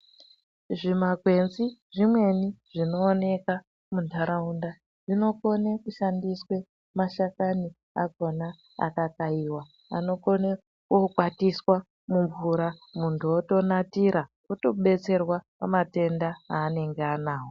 Zvimakwenzi zvimweni zvinooneka muntaraunda zvinokone kushandiswe mashakani akhona akakaiwa anokone kokwatiswa mumvura muntu otonatira otobetserwa pamatenda aanenge anawo.